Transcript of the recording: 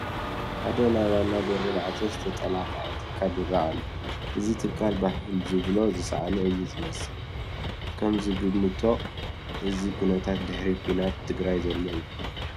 ሓደ ናይ ዋና በሩ ማዕፆ ዝተጠላቅዐ ትካል ይርአ ኣሎ፡፡ እዚ ትካል ባህል ዝብሎ ዝሰአነ እዩ ዝመስል፡፡ ከምዝግብቶ እዚ ኩነታት ድሕሪ ኲናት ትግራይ ዘሎ እዩ፡፡